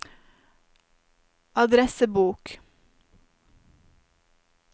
adressebok